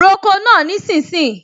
Roko náà nísinsìnyí!